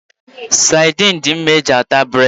Sadin dị mma iji taa bụredị.